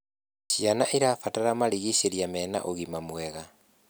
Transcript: Ciana irabatara marigicirĩa mena ũgima mwega